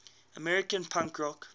american punk rock